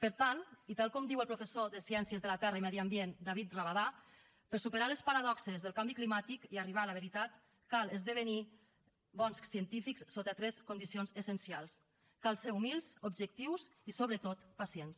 per tant i tal com diu el professor de ciències de la terra i medi ambient david rabadà per superar les paradoxes del canvi climàtic i arribar a la veritat cal esdevenir bons científics sota tres condicions essencials cal ser humils objectius i sobretot pacients